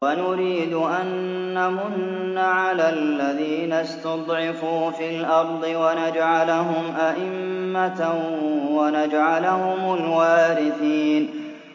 وَنُرِيدُ أَن نَّمُنَّ عَلَى الَّذِينَ اسْتُضْعِفُوا فِي الْأَرْضِ وَنَجْعَلَهُمْ أَئِمَّةً وَنَجْعَلَهُمُ الْوَارِثِينَ